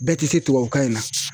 Bɛɛ tɛ se tubabukan in na.